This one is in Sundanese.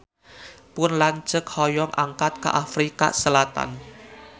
Pun lanceuk hoyong angkat ka Afrika Selatan